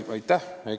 Aitäh!